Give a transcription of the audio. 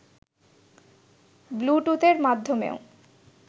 ব্লুটুথের মাধ্যমেও